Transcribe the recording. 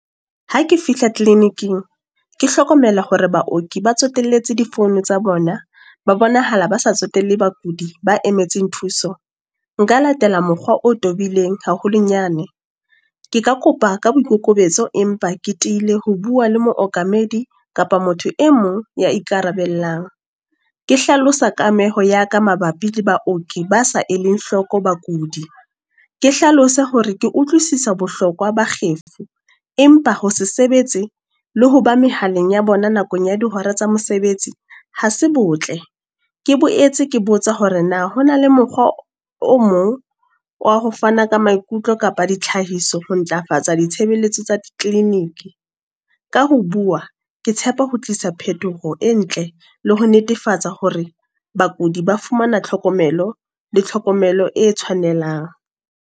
Ha ke fihla Clinic-ing. Ke hlokomela hore baoki ba tsotellehe di phone tsa bona, ba bonahala ba se tsotelle bakudi ba emetseng thuso. Nka latela mokgwa o tobileng haholonyane. Ke ka kopa ka boikokobetso, empa ke tiile ho bua le mookamedi kapa motho e mong ya ikarabellang. Ke hlalosa kameho ya ka mabapi le baoki ba sa e leng hloko bakudi. Ke hlalose hore ke utlwisisa bohlokwa ba kgefu, empa ho se sebetse, le ho ba mehaleng ya bona nakong ya dihora tsa mesebetsi. Ha se botle, ke boetse ke botsa hore na ho na le mokgwa o mong wa ho fana ka maikutlo kapa ditlhahiso ho ntlafatsa ditshebeletso tsa di-clinic. Ka ho bua, ke tshepa ho tlisa phetoho e ntle le ho netefatsa hore bakudi ba fumana tlhokomelo. Le tlhokomelo e tshwanelang.